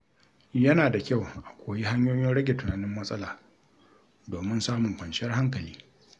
Yana da kyau a koyi hanyoyin rage tunanin matsala domin samun kwanciyar hankali.